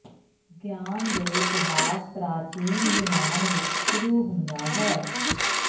ਗਿਆਨ ਦੇ ਇਤਿਹਾਸ ਪ੍ਰਾਚੀਨ ਯੂਨਾਨ ਵਿਚ ਸ਼ੁਰੂ ਹੁੰਦਾ ਹੈ